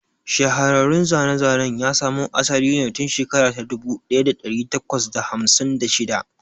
Shahararrun zane-zanen ya samo asali ne tun shekara ta dubu ɗaya da ɗari takwas da hamsin da shida.